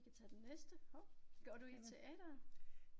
Vi kan tage den næste. Går du teatret?